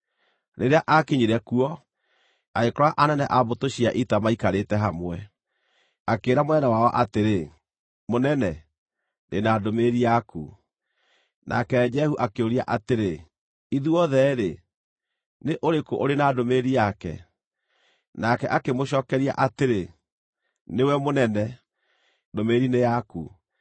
Rĩrĩa aakinyire kuo, agĩkora anene a mbũtũ cia ita maikarĩte hamwe. Akĩĩra mũnene wao atĩrĩ, “Mũnene, ndĩ na ndũmĩrĩri yaku.” Nake Jehu akĩũria atĩrĩ, “Ithuothe-rĩ, nĩ ũrĩkũ ũrĩ na ndũmĩrĩri yake?” Nake akĩmũcookeria atĩrĩ, “Nĩwe mũnene, ndũmĩrĩri nĩ yaku.”